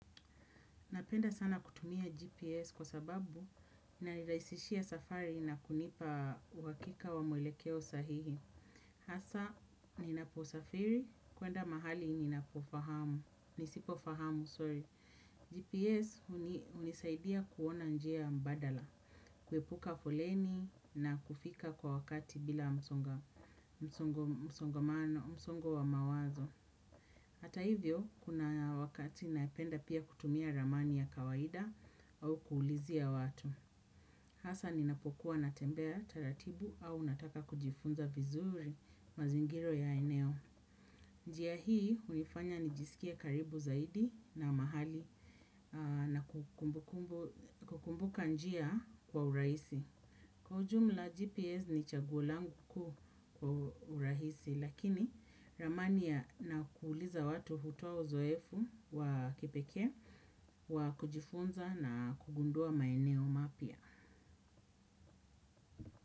Napenda sana kutumia GPS kwa sababu inanirahisishia safari na kunipa uhakika wa mwelekeo sahihi. Hasa ninaposafiri kwenda mahali ninapofahamu, nisipofahamu, sorry. GPS hunisaidia kuona njia mbadala, kuepuka foleni na kufika kwa wakati bila msongo wa mawazo. Hata hivyo, kuna wakati napenda pia kutumia ramani ya kawaida au kuulizia watu. Hasa ninapokuwa natembea taratibu au nataka kujifunza vizuri mazingira ya eneo. Njia hii hunifanya nijisikie karibu zaidi na mahali na kukumbuka njia kwa urahisi. Kwa ujumla GPS ni chaguo langu kuu kwa urahisi lakini ramani na kuuliza watu hutoa uzoefu wa kipekee wa kujifunza na kugundua maeneo mapya.